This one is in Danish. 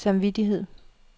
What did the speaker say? samvittighed